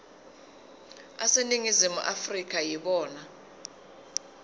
aseningizimu afrika yibona